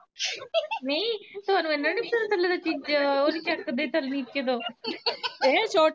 ਨਹੀਂ ਤੁਆਨੂੰ ਏਨਾ ਨੀ ਪਤਾ ਥੱਲੇ ਤੇ ਚੀਜਾਂ ਨੀ ਓ ਨੀ ਚੱਕਦੇ ਥਲ ਨਿੱਚੇ ਤੋਂ